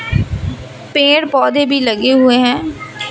पेड़ पौधे भी लगे हुए हैं।